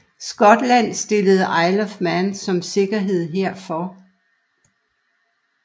Skotland stillede Isle of Man som sikkerhed herfor